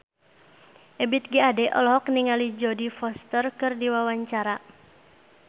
Ebith G. Ade olohok ningali Jodie Foster keur diwawancara